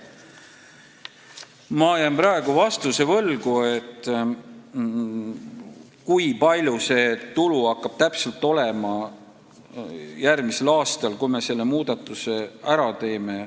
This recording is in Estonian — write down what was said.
Ma jään praegu võlgu vastuse, kui suur see tulu hakkaks olema järgmisel aastal, kui me selle muudatuse ära teeksime.